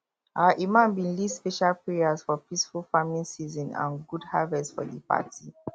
our imam bin lead special prayers for peaceful farmng season and good harvest for di party